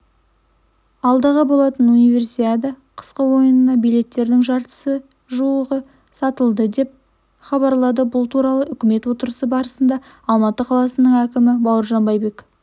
алдағы болатын универсиада қысқы ойынына билеттердің жартысына жуығы сатылды деп хабарлайды бұл туралы үкімет отырысы барысында алматы қаласының әкімі бауыржан байбек